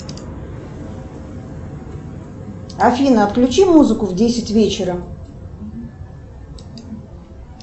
афина отключи музыку в десять вечера